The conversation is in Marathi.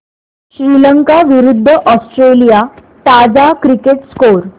श्रीलंका विरूद्ध ऑस्ट्रेलिया ताजा क्रिकेट स्कोर